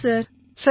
ஆமாம் சார்